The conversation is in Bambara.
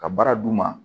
Ka baara d'u ma